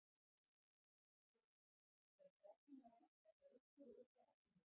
Jóhann: Er fregna að vænta frá ykkur og ykkar eftirliti?